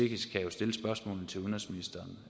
kan jo stille spørgsmålene til udenrigsministeren